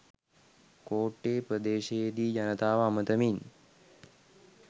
කෝට්ටේ ප්‍රදේශයේදී ජනතාව අමතමින්